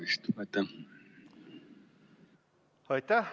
Aitäh!